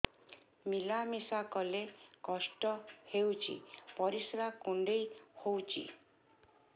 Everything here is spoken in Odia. ମିଳା ମିଶା କଲେ କଷ୍ଟ ହେଉଚି ପରିସ୍ରା କୁଣ୍ଡେଇ ହଉଚି